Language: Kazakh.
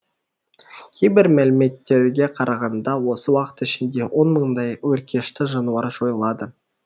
кейбір мәліметтерге қарағанда осы уақыт ішінде он мыңдай өркешті жануар жойылады